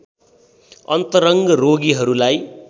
अन्तरङ्ग रोगीहरूलाई